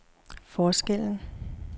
forskellen